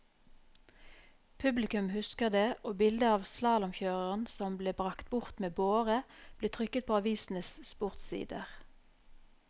Publikum husker det, og bildet av slalåmkjøreren som ble bragt bort med båre, ble trykket på avisenes sportssider.